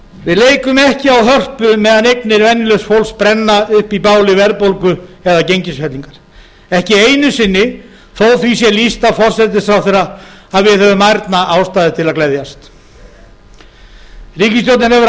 við leikum ekki á hörpu meðan eignir venjulegs fólks brenna upp í báli verðbólgu eða gengisfellingar ekki einu sinni þó að því sé lýst af forsætisráðherra að við höfum ærna ástæðu til að gleðjast ríkisstjórnin hefur